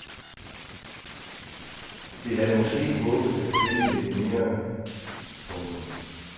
Vi havde måske håbet af finde lidt mere. punktum